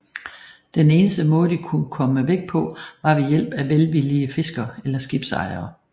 Den eneste måde de kunne komme væk på var ved hjælp af velvillige fiskere eller skibsejere